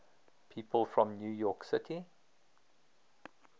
people from new york city